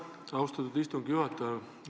Aitäh, austatud istungi juhataja!